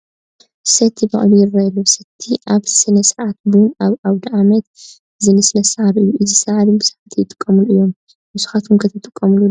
ሰቲ በቒሉ ይርአ ኣሎ፡፡ ሰቲ ኣብ ስነ ስርዓት ቡን፣ ኣብ ኣውደ ዓመት ዝንስነስ ሳዕሪ እዩ፡፡ እዚ ሳዕሪ ብዙሓት ይጥቀሙሉ እዮም፡፡ ንስኻትኩም ከ ትጥቀሙሉ ዶ?